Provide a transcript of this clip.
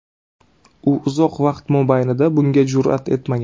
U uzoq vaqt mobaynida bunga jur’at etmagan.